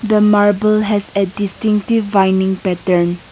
the marble has a distinctive winding pattern.